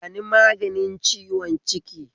Bani maganin ciwon ciki